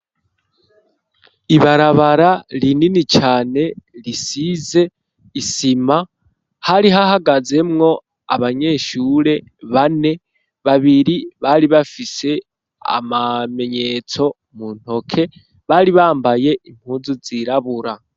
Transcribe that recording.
Ibarabara rinini cane risize isima hari hahagazemwo abanyeshure bane babiri bari bafise amamenyetso mu ntoke bari bambaye impunzu zirabura.